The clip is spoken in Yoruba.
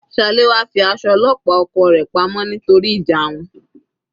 Salewa fi aṣọ ọlọ́pàá oko rẹ̀ pa mọ́ nítorí ìjà wọn.